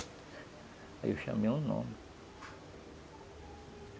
Aí eu chamei o nome.